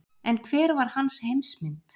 En hver var hans heimsmynd?